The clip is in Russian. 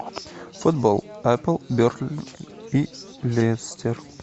футбол апл бернли и лестер